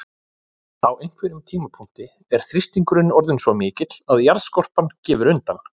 Á einhverjum tímapunkti er þrýstingur orðinn svo mikill að jarðskorpan gefur undan.